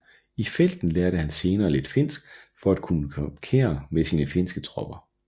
I felten lærte han senere lidt finsk for at kunne kommunikere med sine finske tropper